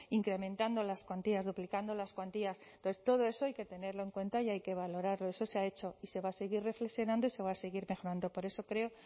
incrementando las cuantías duplicando las cuantías entonces todo eso hay que tenerlo en cuenta y hay que valorarlo eso se ha hecho y se va a seguir reflexionando y se va a seguir mejorando por eso creo